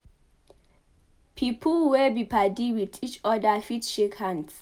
Pipo wey be padi with each oda fit shake hands